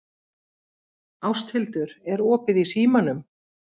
Ásthildur, er opið í Símanum?